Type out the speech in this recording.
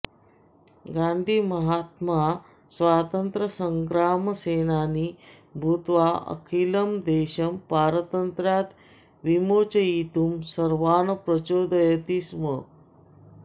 गान्धीमहात्मा स्वातन्त्र्यसङ्ग्रामसेनानी भूत्वा अखिलं देशं पारतन्त्र्यात् विमोचयितुं सर्वान् प्रचोदयति स्म